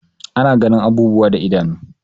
Ana ganin abubuwa da idanu.